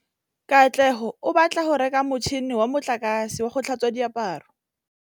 Katlego o batla go reka motšhine wa motlakase wa go tlhatswa diaparo.